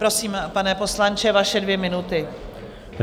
Prosím, pane poslanče, vaše dvě minuty.